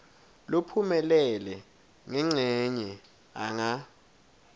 lophumelele ngencenye anga